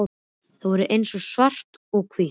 Þau voru eins og svart og hvítt.